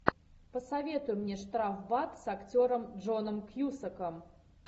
посоветуй мне штрафбат с актером джоном кьюсаком